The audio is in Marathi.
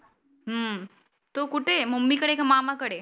हम्म तु कुठे आहे मम्मी कडे की मामा कडे?